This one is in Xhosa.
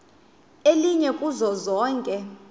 elinye kuzo zonke